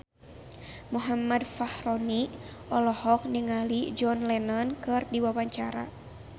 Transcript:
Muhammad Fachroni olohok ningali John Lennon keur diwawancara